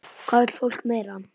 Hvað vill fólk meira?